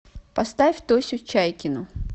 поставь тосю чайкину